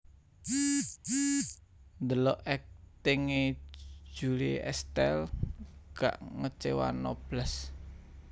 Ndelok akting e Julie Estelle gak ngecewano blas